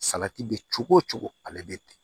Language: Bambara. Salati bɛ cogo cogo ale bɛ ten